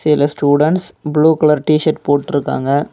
இதுல students blue colour T shirt போட்டுருக்காங்க.